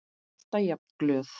Alltaf jafn glöð.